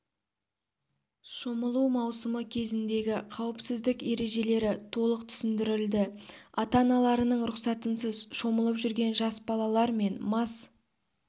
шомылу маусымы кезіндегі қауіпсіздік ережелері толық түсіндірілді ата-аналарының рұқсатынсыз шомылып жүрген жас балалар мен мас